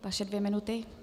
Vaše dvě minuty.